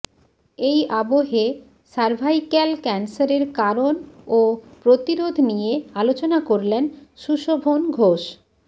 এই আবহে সারভাইক্যাল ক্যানসারের কারণ ও প্রতিরোধ নিয়ে আলোচনা করলেন সুশোভন ঘোষ